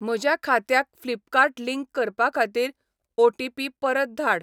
म्हज्या खात्याक Flipkart link करपा खातीर ओ.टी.पी परत धाड.